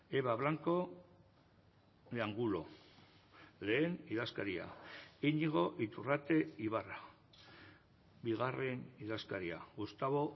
eba blanco de angulo lehen idazkaria iñigo iturrate ibarra bigarren idazkaria gustavo